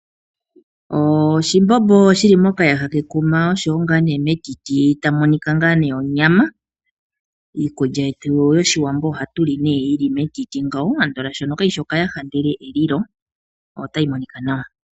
Oshimbobo shili mokayaha kekuma oshowo ngaa ne metiti tamu monika onyama. Iikulya yetu yoshiwambo ohatu li ne yili metiti ngawo andola shono kayishi okayaha ndele elilo otayi monika nawa.